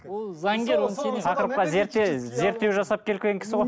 ол заңгер тақырыпқа зерттеу жасап келген кісі ғой